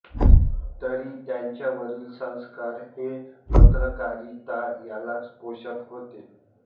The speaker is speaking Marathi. तरी त्यांच्यावरील संस्कार हे पत्रकारिता यालाच पोषक होते